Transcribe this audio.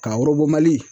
Ka mali